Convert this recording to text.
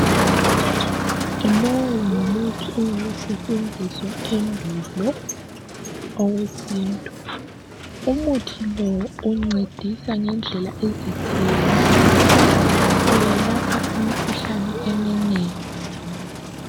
Lowu ngumuthi owawusetshenziswa endulo owesintu. Umuthi lo uncedisa ngendlela ezitshiyeneyo. Uyelapha imikhuhlane eminengi njalo.